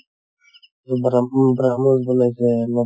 ব্ৰাহ ব্ৰাহমচ বনাইছে নতুন